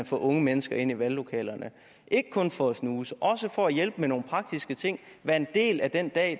få unge mennesker ind i valglokalerne ikke kun for at snuse men også for at hjælpe med nogle praktiske ting og være en del af den dag